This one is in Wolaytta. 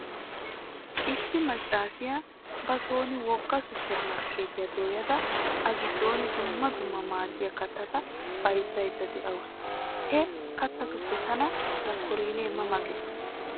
Issi maccaasiya ba sooni wogga 'supprmarkkeetiya' dooyada a giddooni dumma dumma maadiya kattata bayzzaydda dawusu. He kattatuppe tana mokkorennee ma ma gees.